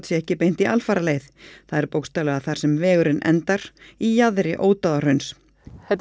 sé ekki beint í alfaraleið það er bókstaflega þar sem vegurinn endar í jaðri Ódáðahrauns þetta